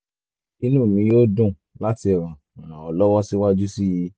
inú mi yóò dùn láti ràn ràn ọ́ lọ́wọ́ síwájú sí i